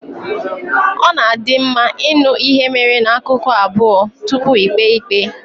Ọ na adị mma ịṅụ ihe mere na ákụkụ abụọ tupu íkpè ikpe